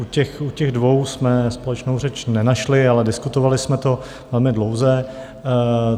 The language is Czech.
U těch dvou jsme společnou řeč nenašli, ale diskutovali jsme to velmi dlouze.